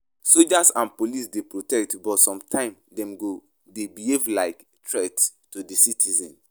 Soldiers and police dey protect but sometimes dem go dey behave like threats to di citizens.